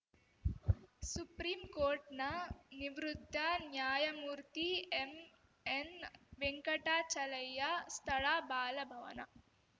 ಸುಪ್ರೀಂಕೋರ್ಟ್‌ನ ನಿವೃತ್ತ ನ್ಯಾಯಮೂರ್ತಿ ಎಂಎನ್‌ವೆಂಕಟಾಚಲಯ್ಯ ಸ್ಥಳ ಬಾಲಭವನ